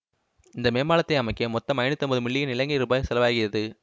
இந்த மேம்பாலத்தை அமைக்க மொத்தம் ஐநூற்றி ஐம்பது மில்லியன் இலங்கை ரூபாய் செலவாகியது